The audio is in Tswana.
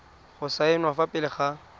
go saenwa fa pele ga